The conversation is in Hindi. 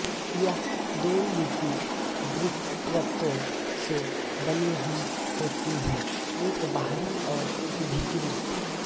यह दो लिपिड द्विपरतों से बनी हुई होती है एक बाहरी और एक भीतरी